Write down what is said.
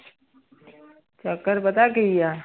ਚੱਕਰ ਪਤਾ ਕੀ ਹੈ।